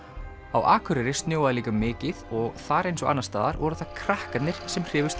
á Akureyri snjóaði líka mikið og þar eins og annars staðar voru það krakkarnir sem hrifust